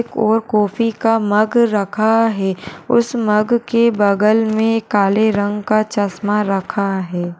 एक और कॉफी का मग रखा है। उस मग के बगल मे काले रंग का चश्मा रखा है।